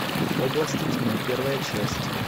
области тьмы первая часть